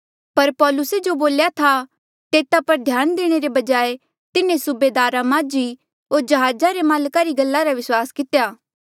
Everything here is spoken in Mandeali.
पर पौलुसे जो बोल्या था तेता पर ध्यान देणे रे बजाय तिन्हें सुबेदारे माझी होर जहाजा रे माल्का री गल्ला रा विस्वास कितेया